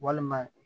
Walima